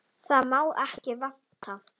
Það sem má ekki vanta!